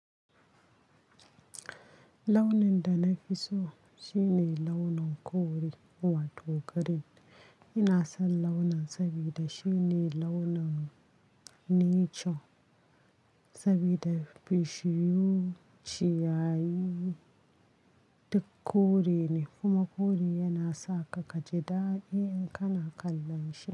Launin da na fi so shine launin kore wato green. Ina son launin saboda shine launin nature saboda bishiyu, ciyayi duk kore ne. Kuma kore yana sa ka kaji daɗi in kana kallon shi.